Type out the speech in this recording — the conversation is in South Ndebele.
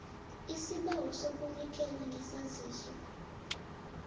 isibawo sokunikela ngesaziso